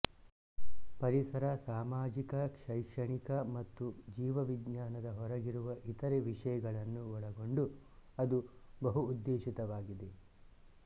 ಪರಿಸರ ಸಾಮಾಜಿಕ ಶೈಕ್ಷಣಿಕ ಮತ್ತು ಜೀವವಿಜ್ಞಾನದ ಹೊರಗಿರುವ ಇತರೆ ವಿಷಯಗಳನ್ನು ಒಳಗೊಂಡು ಅದು ಬಹುಉದ್ದೇಶಿತವಾಗಿದೆ